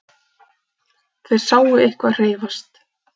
Þeir sáu eitthvað hreyfast.